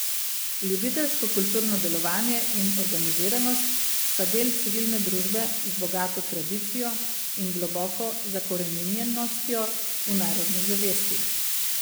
Ljubiteljsko kulturno delovanje in organiziranost sta del civilne družbe z bogato tradicijo in globoko zakoreninjenostjo v narodni zavesti.